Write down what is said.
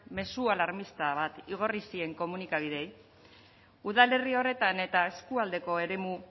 mezu alarmista bat igorri zien komunikabideei udalerri horretan eta eskualdeko eremu